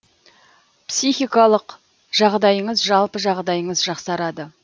психикалық жағдайыңыз жалпы жағдайыңыз жақсарады